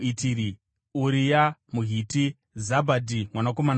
Uria muHiti, Zabhadhi mwanakomana waArai,